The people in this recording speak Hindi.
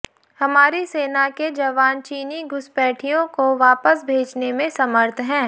हमारी सेना के जवान चीनी घुसपैठियों को वापस भेजने में समर्थ हैं